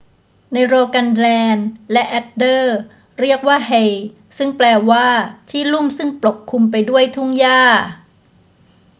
ใน rogaland และ agder เรียกว่า hei ซึ่งแปลว่าที่ลุ่มซึ่งปกคลุมไปด้วยทุ่งหญ้า